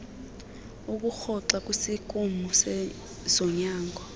ukurhoxa kwisikimu sezonyango